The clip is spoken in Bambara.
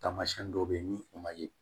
Taamasiyɛn dɔw bɛ yen ni o ma ye